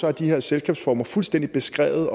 er de her selskabsformer fuldstændig beskrevet